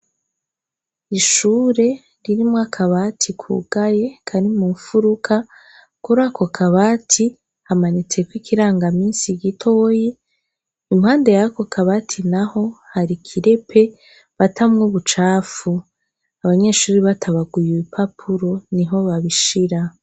Ishure ririmwo akabati kugaye kari mu mufuruka. Kuri ako kabati hamanitseko ikirangaminsi gitoyi. Impande ya ako kabati naho hari ikirepe batamwo ubucafu. Abanyeshure batabaguye ipapuro niho babishira.